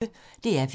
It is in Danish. DR P1